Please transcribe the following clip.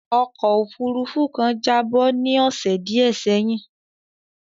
Ọkó òfurufú kan jábọ́ ní ọ̀sè díẹ̀ sẹ́yìn.